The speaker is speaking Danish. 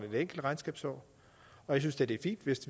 et enkelt regnskabsår og jeg synes da det er fint hvis